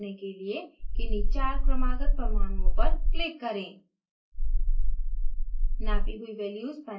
dihedral कोण नापने के लिए किन्हीं चार क्रमागत परमाणुओं पर click करें